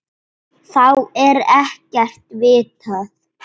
Þá er ekkert vitað.